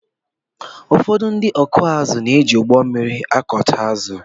ụfọdụ ndị ọkụ ázụ na-éji ụgbọmmiri ákùtá ázụ